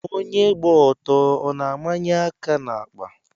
Onyé gba ọtọ a na-ámányé áká n'àkpà?